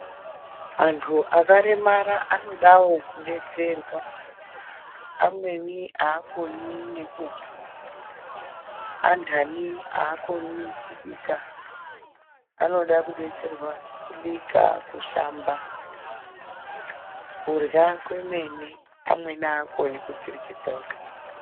Antu akaremara anodavo kubetserwa. Amweni hakoni nekuhamba, andani hakoni kubika. Anoda kubetserwa kubika, kushamba, kurya kwemene. Amweni haakoni kudziryisa ega.